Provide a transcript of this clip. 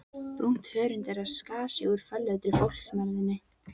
Brúnt hörund þeirra skar sig úr fölleitri fólksmergðinni.